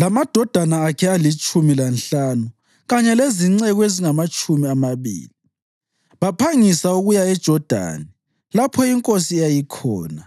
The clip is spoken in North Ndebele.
lamadodana akhe alitshumi lanhlanu kanye lezinceku ezingamatshumi amabili. Baphangisa ukuya eJodani lapho inkosi eyayikhona.